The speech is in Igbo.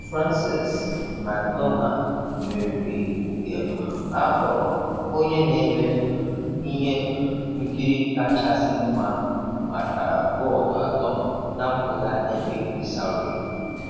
Frances McDormand meriri nke um akpọrọ 'Onye na-eme um ihe um nkiri kachasị mma' maka bọọdụ atọ na mpụga Ebbing, Missouri.